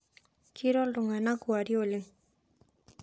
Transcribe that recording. Keiro ltungana kuarie oleng